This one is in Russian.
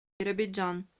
биробиджан